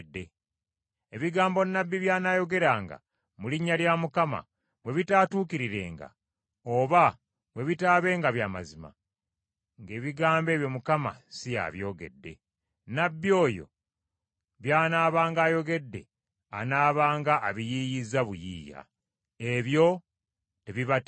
Ebigambo nnabbi by’anaayogeranga mu linnya lya Mukama bwe bitaatuukirirenga oba bwe bitaabenga bya mazima, ng’ebigambo ebyo Mukama Katonda si y’abyogedde. Nnabbi oyo by’anaabanga ayogedde anaabanga abiyiiyizza buyiiya. Ebyo tebibatiisanga.